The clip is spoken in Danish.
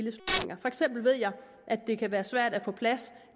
at det kan være svært at få plads